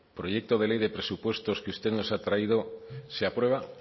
proyecto de ley de presupuestos que usted nos ha traído se aprueba